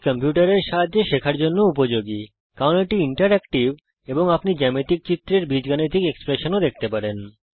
এটি কম্পিউটার এর সাহায্যে শেখার জন্যে উপযোগী কারণ এটি ইন্টারেক্টিভ এবং আপনি জ্যামিতিক চিত্রের বীজগাণিতিক রাশি এক্সপ্রেশন দেখতে পারেন